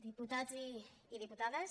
diputats i diputades